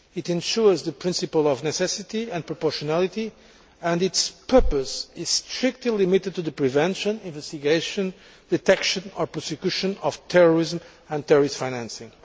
It ensures the principle of necessity and proportionality and its purpose is strictly limited to the prevention, investigation, detection or prosecution of terrorism and terrorist financing.